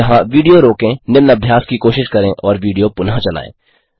यहाँ विडियो रोकें निम्न अभ्यास की कोशिश करें और विडियो पुनः चलायें